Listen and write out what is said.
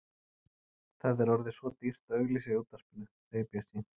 Það er orðið svo dýrt að auglýsa í útvarpinu, segir Bjössi.